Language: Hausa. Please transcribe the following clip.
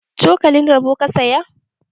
Cokalin roba ka saya?